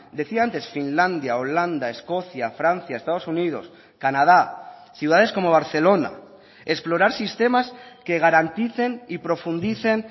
decía antes finlandia holanda escocia francia estados unidos canadá ciudades como barcelona explorar sistemas que garanticen y profundicen